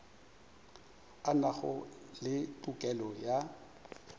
a nago le tokelo ya